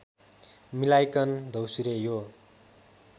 मिलाइकन द्यौसुरे यो